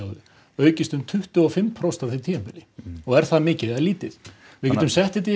aukist um tuttugu og fimm prósent á því tímabili og er það mikið eða lítið við getum sett þetta í